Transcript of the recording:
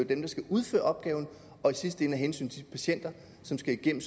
dem der skal udføre opgaven og i sidste ende af hensyn til de patienter som skal igennem